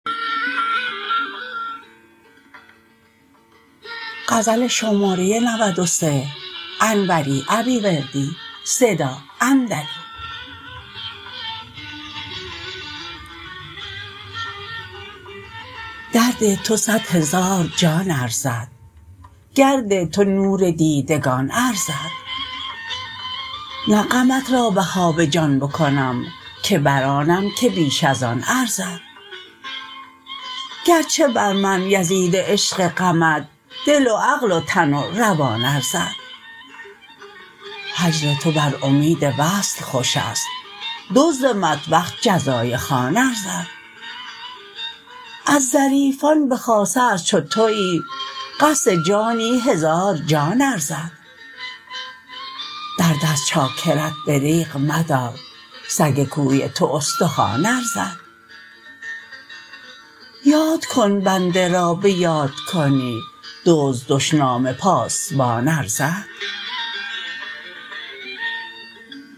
درد تو صدهزار جان ارزد گرد تو نور دیدگان ارزد نه غمت را بها به جان بکنم که برآنم که بیش از آن ارزد گرچه بر من یزید عشق غمت دل و عقل و تن و روان ارزد هجر تو بر امید وصل خوشست دزد مطبخ جزای خوان ارزد از ظریفان به خاصه از چو تویی قصد جانی هزار جان ارزد درد از چاکرت دریغ مدار سگ کوی تو استخوان ارزد یاد کن بنده را به یاد کنی دزد دشنام پاسبان ارزد